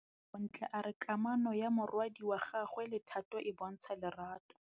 Bontle a re kamanô ya morwadi wa gagwe le Thato e bontsha lerato.